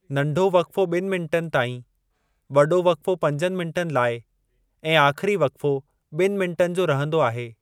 नंढो वक़्फ़ो ॿिनि मिन्टनि ताईं, वॾो वक़्फ़ो पंजनि मिन्टनि लाइ ऐं आख़िरी वक़्फ़ो ॿिनि मिन्टनि जो रहंदो आहे।